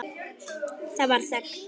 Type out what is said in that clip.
Það varð þögn.